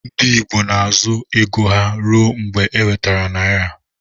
Ndi igbo na azụ ego ha rụọ mgba eweter naira.